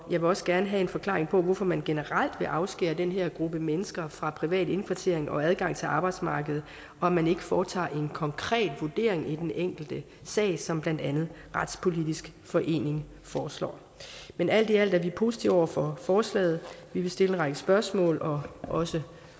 vil også gerne have en forklaring på hvorfor man generelt vil afskære den her gruppe mennesker fra privat indkvartering og adgang til arbejdsmarkedet og at man ikke foretager en konkret vurdering i den enkelte sag som blandt andet retspolitisk forening foreslår men alt i alt er vi positive over for forslaget vi vil stille en række spørgsmål og også